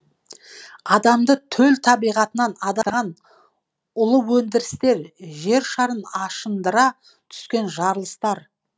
адамды төл табиғатынан улы өндірістер жершарын ашындыра түскен жарылыстар